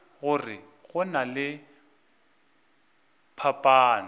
gore go na le phapano